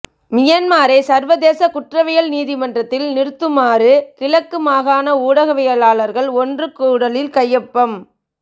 மியன்மாரை சர்வதேச குற்றவியல் நீதிமன்றில் நிறுத்துமாறு கிழக்கு மாகாண ஊடகவியலாளர்கள் ஒன்று கூடலில் கையொப்பம்